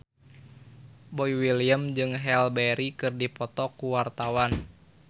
Boy William jeung Halle Berry keur dipoto ku wartawan